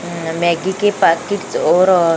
हां मैग्गी के पॉकिट्स और --